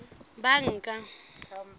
banka